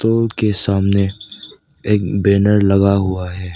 तल के सामने एक बैनर लगा हुआ है।